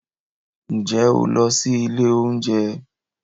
Ǹjẹ́ ó lọ sí ilé oúnjẹ